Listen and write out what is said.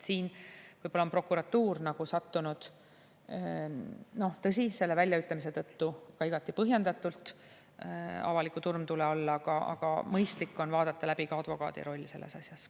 Siin võib-olla on prokuratuur nagu sattunud – noh, tõsi, selle väljaütlemise tõttu ka igati põhjendatult – avaliku turmtule alla, aga mõistlik on vaadata läbi ka advokaadi roll selles asjas.